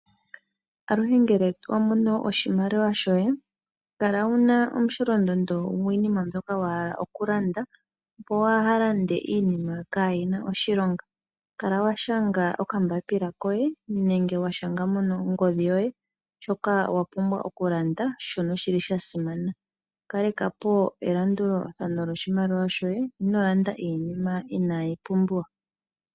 Aluhe ngele wa mono oshimaliwa shoye, kala wu na omusholondondo gwiinima mbyoka wa hala okulanda, opo kuu lande iinima kaayi na oshilonga. Kala wa shanga okambapila koye nenge wa shanga mongodhi yoye shoka wa hala okulanda, shoka sha simana. Kaleka po elandulathano lyoshimaliwa shoye, ino landa iinima inaayi pumbiwa.